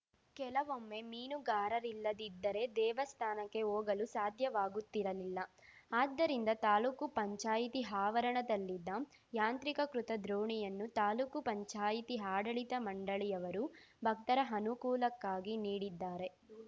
ಕೆಲವೊಮ್ಮೆ ಮೀನುಗಾರರಿಲ್ಲದಿದ್ದರೆ ದೇವಸ್ಥಾನಕ್ಕೆ ಹೋಗಲು ಸಾಧ್ಯವಾಗುತ್ತಿರಲಿಲ್ಲ ಆದ್ದರಿಂದ ತಾಲೂಕುಪಂಚಾಯತಿ ಆವರಣದಲ್ಲಿದ್ದ ಯಾಂತ್ರೀಕಕೃತ ದೋಣಿಯನ್ನು ತಾಲೂಕುಪಂಚಾಯತಿ ಆಡಳಿತ ಮಂಡಳಿಯವರು ಭಕ್ತರ ಅನುಕೂಲಕ್ಕಾಗಿ ನೀಡಿದ್ದಾರೆ